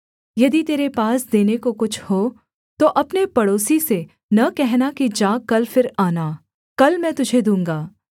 यदि तेरे पास देने को कुछ हो तो अपने पड़ोसी से न कहना कि जा कल फिर आना कल मैं तुझे दूँगा